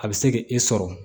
A bɛ se k'i sɔrɔ